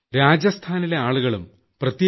രാജസ്ഥാനിലെ ആളുകളും പ്രത്യേ